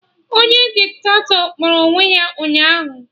Onye Diktatọ kpọrọ onwe ya ụnyaahụ